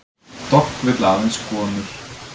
Dogg vill aðeins konur